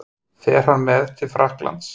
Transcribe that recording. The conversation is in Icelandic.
Fer hann með til Frakklands?